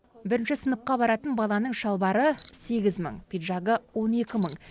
бірінші сыныпқа баратын баланың шалбары сегіз мың пиджагы он екі мың